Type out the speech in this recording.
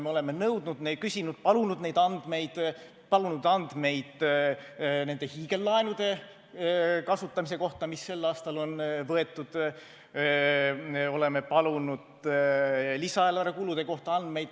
Me oleme nõudnud, küsinud ja palunud andmeid nende hiigellaenude kasutamise kohta, mis sel aastal on võetud, oleme palunud andmeid ka lisaeelarve kulude kohta.